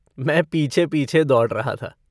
मैं पीछे-पीछे दौड़ रहा था।